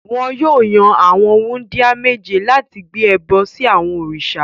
Wọn yóò yan àwọn wúńdíá méje láti gbé ẹbọ sí àwọn òrìṣà.